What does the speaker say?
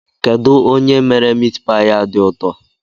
Kedụ onye mere mitpaị a dị ụtọ?